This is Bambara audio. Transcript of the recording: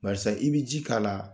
Barisa i bi ji k'a la